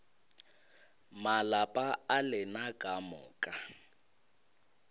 malapa a lena ka moka